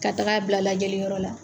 Ka taaga bila lajɛli yɔrɔ la.